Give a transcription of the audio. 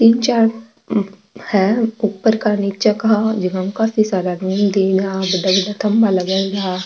तीन चार है ऊपर का नीच का जीका में काफी सारा --